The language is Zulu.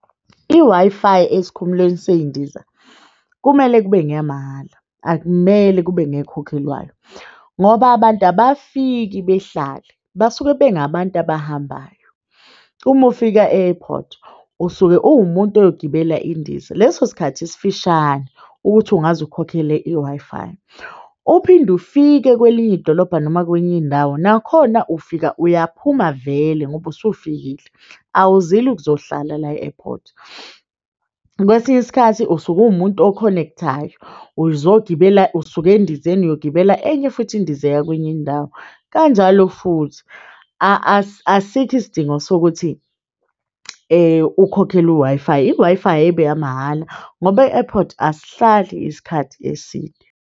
I-Wi-Fi esikhumulweni sey'ndiza kumele kube ngeyamahhala. Akumele kube nekhokhelwayo ngoba abantu abafiki behlale basuke bengabantu abahambayo. Uma ufika e-airport usuke uwumuntu oyogibela indiza leso sikhathi esifishane ukuthi ungazi ukhokhele i-Wi-Fi, uphinde ufike kwelinye idolobha noma kwenye indawo. Nakhona ufika uyaphuma vele ngoba usufikile, awuzile ukuzohlala la e-airport. Kwesinye isikhathi usuke uwumuntu, o-connect-ayo uzogibela usuke endizeni, uyogibela enye futhi indiza eya kwenye indawo. Kanjalo futhi asikho isidingo sokuthi ukhokhele u-Wi-Fi. I-Wi-Fi ayibe eyamahhala ngoba e-airport asihlali isikhathi eside.